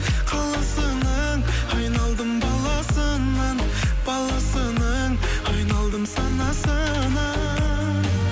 қаласының айналдым баласынан баласының айналдым санасынан